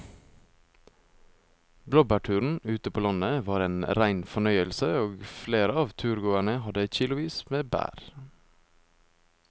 Blåbærturen ute på landet var en rein fornøyelse og flere av turgåerene hadde kilosvis med bær.